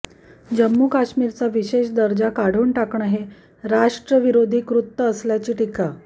जम्मू कश्मीरचा विशेष दर्जा काढून टाकणं हे राष्ट्रविरोधी कृत्य असल्याची टीका